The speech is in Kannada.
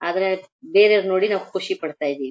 ಆದರೆ ಬೇರೆಯವರನ್ನು ನೋಡಿ ನಾವು ಖುಷಿ ಪಡ್ತಾ ಇದ್ದೀವಿ.